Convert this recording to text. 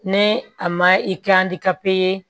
Ni a ma i kɛ ye